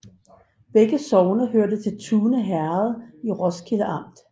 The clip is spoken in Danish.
Begge sogne hørte til Tune Herred i Roskilde Amt